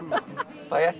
fæ ég ekkert